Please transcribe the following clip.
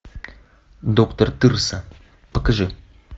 доктор тырса покажи